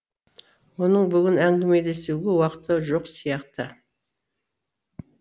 оның бүгін әңгімелесуге уақыты жоқ сияқты